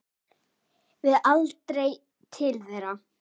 Við aldrei til þeirra.